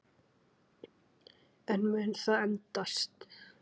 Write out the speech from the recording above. En mun það endast?